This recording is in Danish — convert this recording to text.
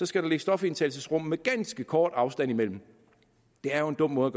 skal ligge stofindtagelsesrum med ganske kort afstand imellem det er jo en dum måde